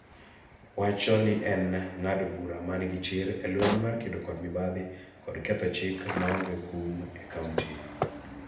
wacho ni en ng�ado bura ma nigi chir e lweny mar kedo kod mibadhi kod ketho chik maonge kum e Kaonti.